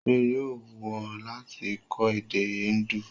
Ṣé yóò wù ọ́ láti kọ́ èdè Indu?